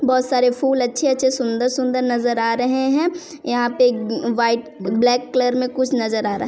बहुत सारे फुल अच्छे अच्छे सुंदर-सुंदर नजर आ रहे हैं यहाँ पे वाइट (white) ब्लैक कलर में कुछ नजर आ रहा है।